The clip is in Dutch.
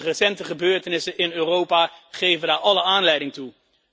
Recente gebeurtenissen in Europa geven daar alle aanleiding toe.